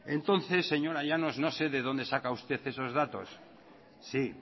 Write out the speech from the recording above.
entonces señora llanos no sé de donde saca usted esos datos sí